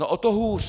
No o to hůř!